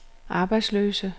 arbejdsløse